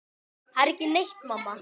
Það er ekki neitt, mamma.